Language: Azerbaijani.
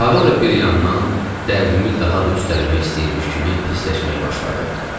Hava da bir yandan dərdimi daha da üstələmək istəyirmiş kimi pisləşməyə başladı.